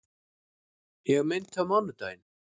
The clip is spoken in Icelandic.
Ég meinti á mánudaginn.